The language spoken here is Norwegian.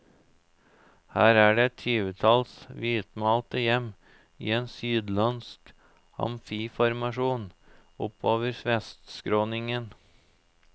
Her er det et tyvetalls hvitmalte hjem i en sydlandsk amfiformasjon oppover vestskråningen.